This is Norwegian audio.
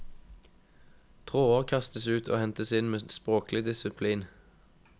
Tråder kastes ut og hentes inn med språklig disiplin.